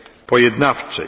grupie